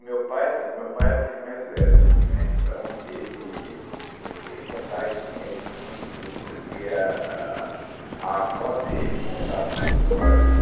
O meu pai, assim, o meu pai era o filho mais velho, né, então, ele ele conta ele tinha isso muito, porque a a a avó dele contava essas histórias.